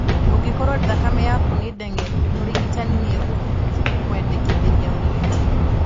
Ũngĩkorũo thakame yaku nĩndeng’eru, mũrigitani nĩegũkwendekithĩria ũrigiti